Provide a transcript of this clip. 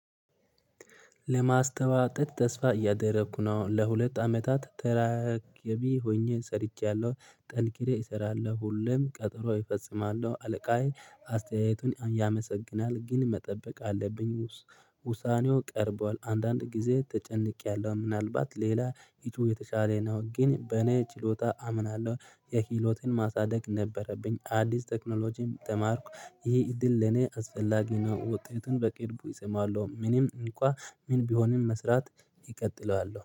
ለማስተዋጠድ ተስፋ እያደረኩ ነው ለሁለት አመታት ተራ ገቢ ሆኜ ሰርቻለሁ ጠንክሬ እሰራለሁ ሁሌም ቀጠሮ እፈጽማለሁ አለቃዬ አስተያየቱን ያመሰግናል ግን መጠበቅ አለብኝ። ውሳኔው ቀርቧል አንዳንድ ጊዜ ተጨንቄያለሁ ምናልባት ሌላ ሂጡ የተሻለ ነው። ግን በኔ ችሎታ አምናለሁ ክሂሎትን ማሳደግ ነበረብኝ አዲስ ቴክኖሎጂም ተማርኩ ይሄ እድል ለኔ አስፈላጊ ነው። ውጤቱን በቅርቡ እሰማለሁ። ምንም እንኳን ምን ቢሆንም መስራት እቀጥለዋለሁ